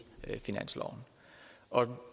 finansloven også